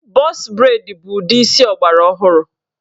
Bọx breid bụ ụdị isi ọgbara ọhụrụ.